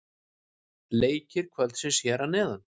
Leikir kvöldsins hér að neðan: